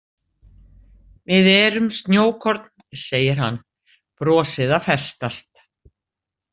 Við erum snjókorn, segir hann, brosið að festast.